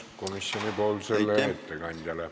Küsimus komisjoni ettekandjale.